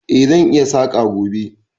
Eh, zan yi saƙa gobe.